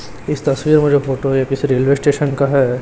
इस तस्वीर में जो फोटो है ये किसी रेलवे स्टेशन का है।